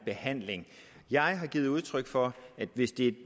behandling jeg har givet udtryk for at hvis det